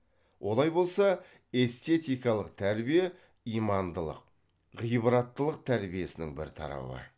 олай болса эстетикалык тәрбие имандылық ғибраттылық тәрбиесінің бір тарауы